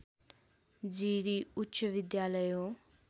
जिरी उच्चविद्यालय हो